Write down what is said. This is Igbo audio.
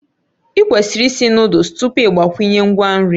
Ịkwesịrị ịsị Nụ́dúls tupu ị gbakwunye ngwa nri